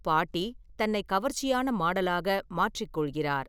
பாட்டி தன்னை கவர்ச்சியான மாடலாக மாற்றிக் கொள்கிறார்.